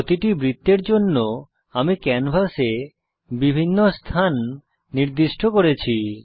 প্রতিটি বৃত্তের জন্য আমি ক্যানভাসে বিভিন্ন স্থান নির্দিষ্ট করেছি